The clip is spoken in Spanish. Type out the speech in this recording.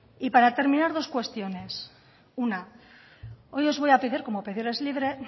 para terminar dos cuestiones una hoy os voy a pedir como pedir es libre